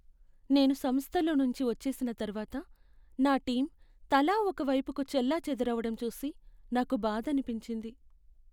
నేను సంస్థలో నుంచి వచ్చేసిన తర్వాత నా టీం తలా ఒక వైపుకు చెల్లాచెదురవడం చూసి నాకు బాధనిపించింది.